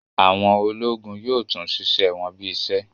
Àwọn ológun yóò tún ṣiṣẹ wọn bí í ṣe